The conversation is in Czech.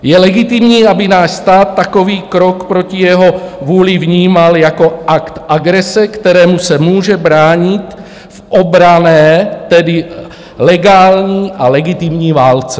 Je legitimní, aby náš stát takový krok proti své vůli vnímal jako akt agrese, kterému se může bránit v obranné, tedy legální a legitimní válce.